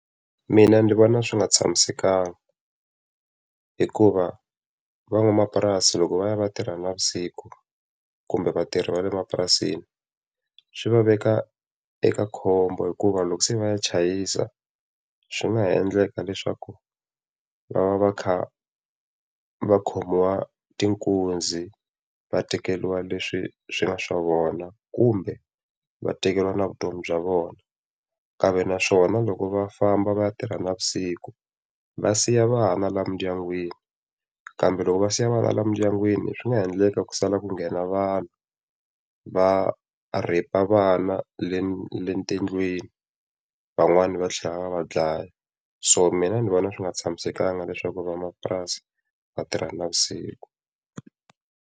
Mina ndzi vona swi nga tshamisekanga. Hikuva van'wamapurasi loko va ya va tirha navusiku kumbe vatirhi va le mapurasini, swi va veka eka khombo hikuva loko se va ya chayisa, swi nga ha endleka leswaku va va va kha va khomiwa ta tinkunzi va tekeriwa leswi swi nga swa vona kumbe va tekeriwa na vutomi bya vona. Kambe naswona loko va famba va ya tirha navusiku, va siya vana laha mindyangwini, kambe loko va siya vana laha mindyangwini swi nga endleka ku sala ku nghena vanhu, va rheyipa vana le le tindlwini, van'wani va tlhela va va dlaya. So mina ni vona swi nga tshamisekanga leswaku va mapurasi va tirha navusiku.